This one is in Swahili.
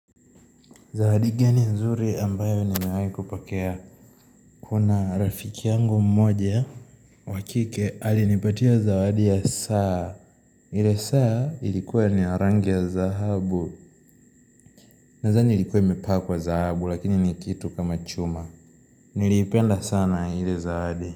Zawadi gani nzuri ambayo nimewai kupokea. Kuna rafiki yangu mmoja. Wa kike alinipatia zawadi ya saa. Ile saa ilikua ni ya rangi ya zahabu. Nazani ilikua imepakwa zahabu lakini ni kitu kama chuma. Niliipenda sana ile zawadi.